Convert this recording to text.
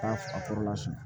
K'a fa fɔlɔ la